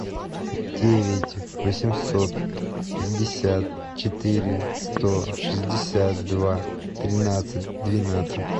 девять восемьсот пятьдесят четыре сто шестьдесят два тринадцать двенадцать